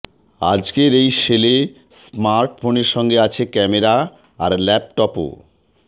আজকের এই সেলে স্মার্টফোনের সঙ্গে আছে ক্যামেরা আর ল্যাপটপও